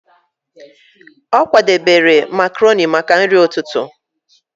Ọ kwadebere makroni maka nri ụtụtụ.